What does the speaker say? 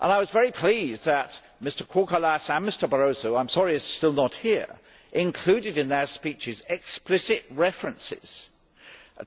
I was very pleased that Mr Kourkoulas and Mr Barroso I am sorry he is still not here both included in their speeches explicit references